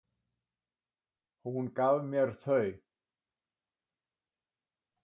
Hún gaf mér þau.